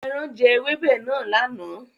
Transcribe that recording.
Ẹran jẹ ewébẹ̀ náà lánàá.